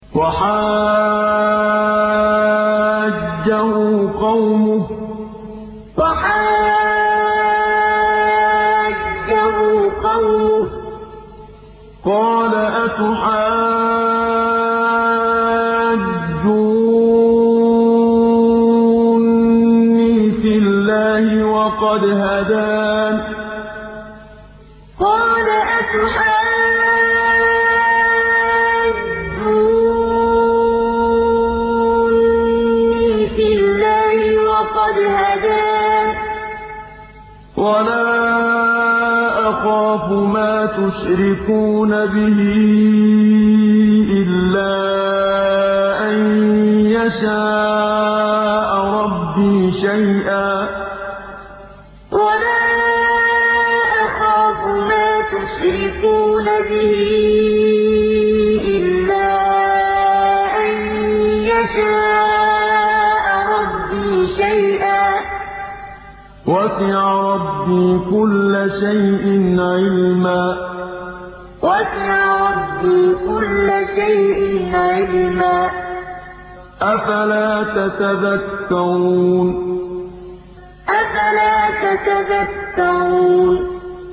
وَحَاجَّهُ قَوْمُهُ ۚ قَالَ أَتُحَاجُّونِّي فِي اللَّهِ وَقَدْ هَدَانِ ۚ وَلَا أَخَافُ مَا تُشْرِكُونَ بِهِ إِلَّا أَن يَشَاءَ رَبِّي شَيْئًا ۗ وَسِعَ رَبِّي كُلَّ شَيْءٍ عِلْمًا ۗ أَفَلَا تَتَذَكَّرُونَ وَحَاجَّهُ قَوْمُهُ ۚ قَالَ أَتُحَاجُّونِّي فِي اللَّهِ وَقَدْ هَدَانِ ۚ وَلَا أَخَافُ مَا تُشْرِكُونَ بِهِ إِلَّا أَن يَشَاءَ رَبِّي شَيْئًا ۗ وَسِعَ رَبِّي كُلَّ شَيْءٍ عِلْمًا ۗ أَفَلَا تَتَذَكَّرُونَ